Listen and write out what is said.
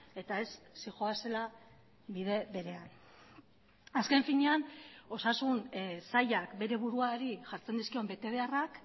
eta ez zihoazela bide berean azken finean osasun sailak bere buruari jartzen dizkion betebeharrak